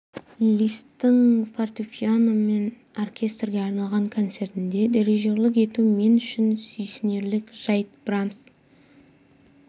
листтің фортепиано мен оркестрге арналған концертіне дирижерлік ету мен үшін сүйсінерлік жайт брамс